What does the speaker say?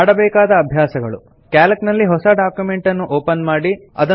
ಮಾಡಬೇಕಾದ ಅಭ್ಯಾಸಗಳು ಸಿಎಎಲ್ಸಿ ನಲ್ಲಿ ಹೊಸ ಡಾಕ್ಯುಮೆಂಟ್ ನ್ನು ಓಪನ್ ಮಾಡಿ